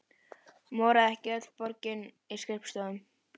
Moraði ekki öll borgin í skrifstofum?